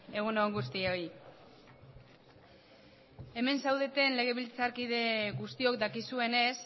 egun on guztioi hemen zaudeten legebiltzarkide guztiok dakizuenez